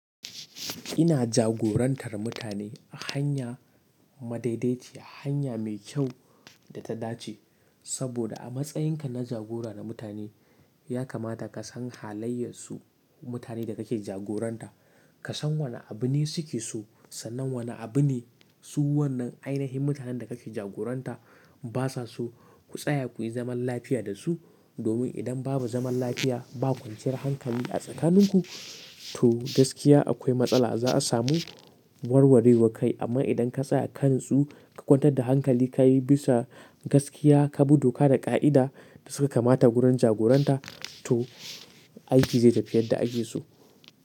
Ina jagorantar mutane a hanya madaidaiciya, hanya mai kyau da ta dace. Saboda a matsayinka na jagora na mutane ya kamata ka san halayyar su mutanen da kake jagoranta. Ka san wane abu ne suke so sannan wane abu ne su wannan ainihin mutanen da kake jagoranta basa so. Ku tsaya kuyi zaman lafiya da su. Domin idan babu zaman lafiya, ba kwanciyar hankali a tsakanin ku to gaskiya akwai matsala za a samu warwarewa kai. Amma idan ka tsaya kanastu ka kwantar da hankali, ka yi bisa gaskiya, ka bi doka da ka'ida da suka kamata wurin jagoranta to aiki zai tafi yadda ake so.